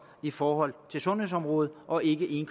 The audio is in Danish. i forhold til sundhedsområdet og ikke en